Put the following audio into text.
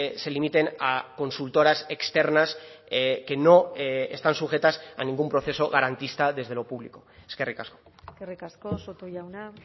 se limiten a consultoras externas que no están sujetas a ningún proceso garantista desde lo público eskerrik asko eskerrik asko soto jauna